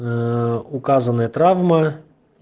ээ указанные травмы